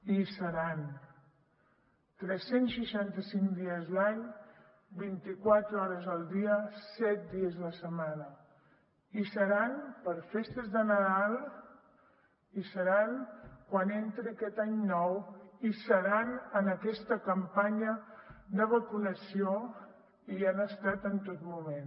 i hi seran tres cents i seixanta cinc dies l’any vint i quatre hores al dia set dies a la setmana hi seran per festes de nadal hi seran quan entri aquest any nou hi seran en aquesta campanya de vacunació i hi han estat en tot moment